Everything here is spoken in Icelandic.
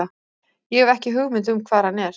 Ég hef ekki hugmynd um hvar hann er.